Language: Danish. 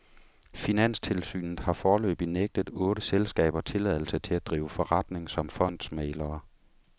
Finanstilsynet har foreløbig nægtet otte selskaber tilladelse til at drive forretning som fondsmæglere.